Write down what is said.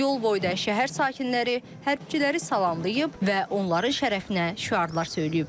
Yol boyu şəhər sakinləri hərbiçiləri salamlayıb və onların şərəfinə şüarlar söyləyiblər.